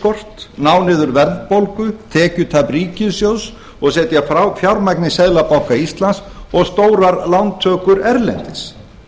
gjaldeyrisskort ná niður verðbólgu tekjutap ríkissjóðs og setja fjármagn í seðlabanka íslands og stórar lántökur erlendis